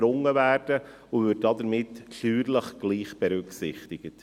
Damit würden sie steuerlich gleich berücksichtigt.